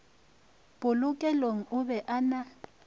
polokelong o be a na